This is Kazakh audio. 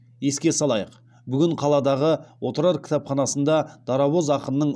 еске салайық бүгін қаладағы отырар кітапханасында дарабоз ақынның